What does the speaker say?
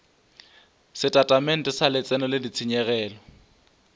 setatamente sa letseno le ditshenyegelo